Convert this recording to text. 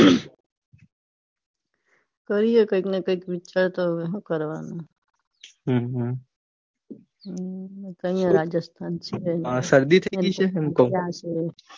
કરીયે કઈંક ને કઈંક વિચારતા હોય હું કરવાનું. હા રાજસ્થાન સિવાય આ શરદી થઇ ગઈ છે હું કૌં